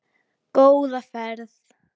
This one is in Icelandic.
Góða ferð!